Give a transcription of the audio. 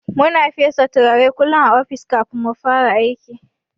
Muna fesa turare kullun a ofis kafin mufara aiki.